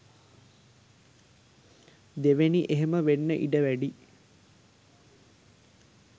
දෙවෙනි එහෙම වෙන්න ඉඩ වැඩියි.